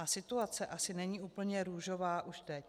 A situace asi není úplně růžová už teď.